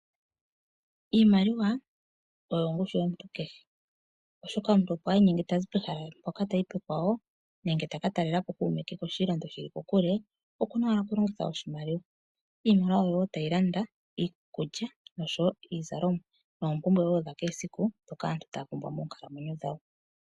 Iimaliwa oyo ongushu yomuntu kehe oshoka omuntu ngele tazi pehala mpoka tayi pekwawo nenge taka talelapo kuume ke koshilongo shili kokule okuna okulongitha oshimaliwa. Iimaliwa ohayi landa iikulya oshowo iizalomwa oshowo oompumbwe dha kehe esiku ndhoka aantu taya pumbwa moonkalamwenyo dhawo.